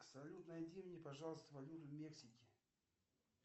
салют найди мне пожалуйста валюту мексики